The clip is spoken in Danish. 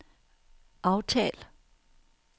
aftal